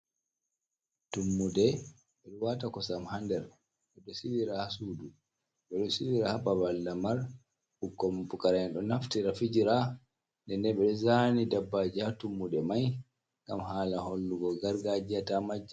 Tummude ɓe waata kosam haa nder ɓe ɗo silira haa suudu, ɓe silira haa babal lamar, ɓikkon pukara'en ɗo naftira fijira nden nden ɓe ɗo zaani dabbaji haa tummude mai ngam haala hollugo gargajiya ta majja.